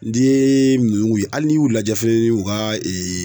N'i yee nuun ye hali n'i y'u lajɛ feel u ka